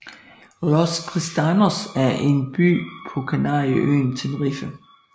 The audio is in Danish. Los Cristianos er en by på kanarieøen Tenerife